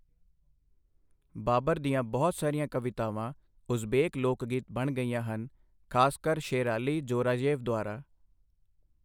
ਬਾਬਰ ਦੀਆਂ ਬਹੁਤ ਸਾਰੀਆਂ ਕਵਿਤਾਵਾਂ ਉਜ਼ਬੇਕ ਲੋਕ ਗੀਤ ਬਣ ਗਈਆਂ ਹਨ, ਖ਼ਾਸਕਰ ਸ਼ੇਰਾਲੀ ਜੋਰਾਯੇਵ ਦੁਆਰਾ।